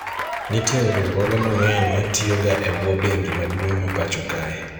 nitiere riwruoge mang'eny ma tiyo ga e bwo bengi maduong' ma pacho kae